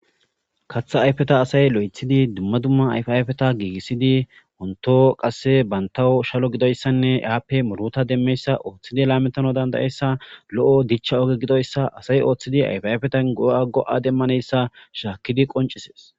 kaththa ayfeta asay lo'eththidi dumma dumma ayfa ayfeta giigissidi wonito qasse bantawo shalo gidoyssanne eaappe muruta demmeyssa ooththidi laametano dandayessa lo'o dicha oge gidoyssa asay ooththidi ayfa ayfetan go'a go'a demmanayssa shaakkidi qoncisees